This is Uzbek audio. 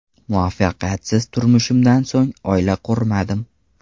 Muvaffaqiyatsiz turmushimdan so‘ng oila qurmadim.